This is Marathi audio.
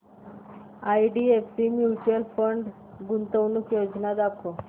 आयडीएफसी म्यूचुअल फंड गुंतवणूक योजना दाखव